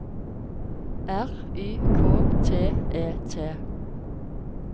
R Y K T E T